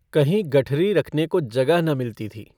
कहीं गठरी रखने को जगह न मिलती थी।